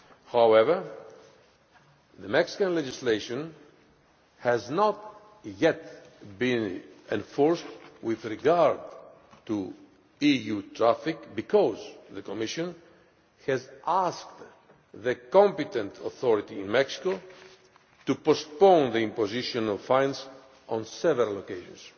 However, the Mexican legislation has not yet been enforced with regard to EU traffic, because the Commission has asked the competent authority in Mexico to postpone the imposition of fines on several occasions.